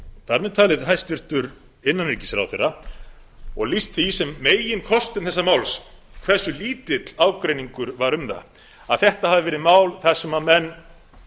þar með talinn hæstvirtur innanríkisráðherra og lýst því sem meginkostum þessa máls hversu lítill ágreiningur var um það að þetta hafi verið mál þar sem menn